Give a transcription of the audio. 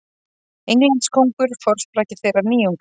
Englandskóngur forsprakki þeirrar nýjungar.